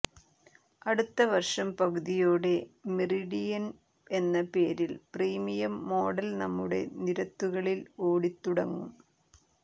അടുത്ത വർഷം പകുതിയോടെ മെറിഡിയൻ എന്ന പേരിൽ പ്രീമിയം മോഡൽ നമ്മുടെ നിരത്തുകളിൽ ഓടിതുടങ്ങും